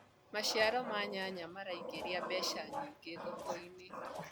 maciaro ma nyanya maraingiria mbeca nyingi thoko-inĩ